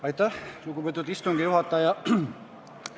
Aitäh, lugupeetud istungi juhataja!